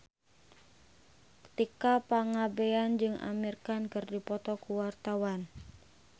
Tika Pangabean jeung Amir Khan keur dipoto ku wartawan